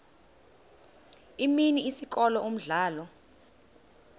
imini isikolo umdlalo